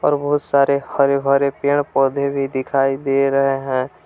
बहुत सारे हरे भरे पेड़ पौधे भी दिखाई दे रहे हैं।